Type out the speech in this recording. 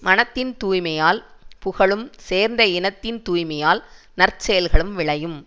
மனத்தின் தூய்மையால் புகழும் சேர்ந்த இனத்தின் தூய்மையால் நற்செயல்களும் விளையும்